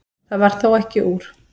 Það varð þó ekki úr.